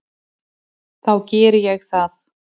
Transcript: Þá geri ég það.